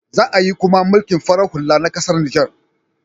Za ayi koma mulkin farar hula na ƙasar Niger.